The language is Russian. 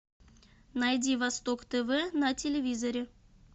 найди восток тв на телевизоре